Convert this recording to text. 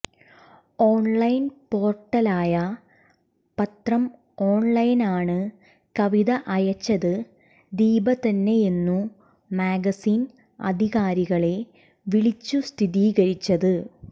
online പോർട്ടലായ പത്രം ഓൺലൈനാണ് കവിത അയച്ചത് ദീപ തന്നെയെന്നു മാഗസിൻ അധികാരികളെ വിളിച്ചു സ്ഥിതീകരിച്ചത്